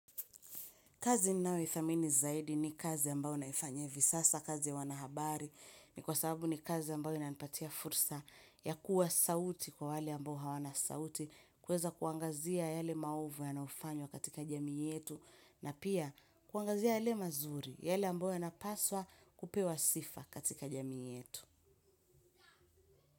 Kazi ninayoithamini zaidi ni kazi ambayo naifanya hivi sasa kazi ya wanahabari ni kwa sababu ni kazi ambayo inanipatia fursa ya kuwa sauti kwa wale ambao hawana sauti kuweza kuangazia yale maovu yanayofanywa katika jamii yetu na pia kuangazia yale mazuri yale ambayo yanapaswa kupewa sifa katika jamii yetu.